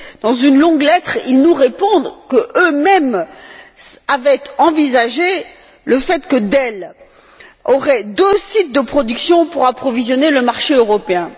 Dans une longue lettre, ils nous répondent qu'eux mêmes avaient envisagé le fait que Dell aurait deux sites de production pour approvisionner le marché européen.